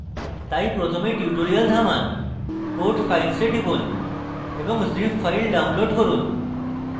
তাই প্রথমে tutorial থামান code files এ টিপুন এবং zip files download করুন